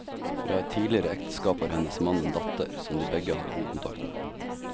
Fra et tidligere ekteskap har hennes mann en datter, som de begge har god kontakt med.